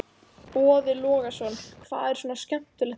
Boði Logason: Hvað er svona skemmtilegt við þetta?